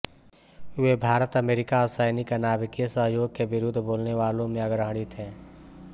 वे भारतअमेरिका असैनिक नाभिकीय सहयोग के विरुद्ध बोलने वालों में अग्रणी थे